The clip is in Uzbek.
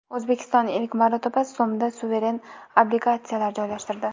O‘zbekiston ilk marotaba so‘mda suveren obligatsiyalar joylashtirdi.